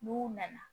N'u nana